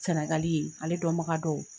Sɛnɛgali yen ale dɔnbaga dɔw